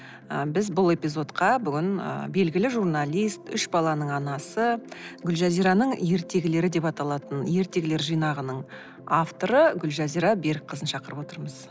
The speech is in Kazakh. ы біз бұл эпизодқа бүгін ы белгілі журналист үш баланың анасы гүлжазираның ертегілері деп аталатын ертегілер жинағының авторы гүлжазира берікқызын шақырып отырмыз